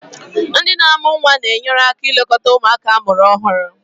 Ndị na amu nwa na-enyere aka ilekọta ụmụaka amụrụ ọhụrụ.